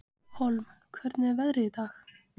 Hólm, hvernig er veðrið í dag?